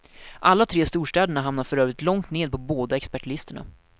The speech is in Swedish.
Alla tre storstäderna hamnar för övrigt långt ned på båda expertlistorna.